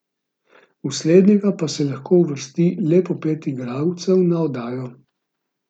V slednjega pa se lahko uvrsti le po pet igralcev na oddajo.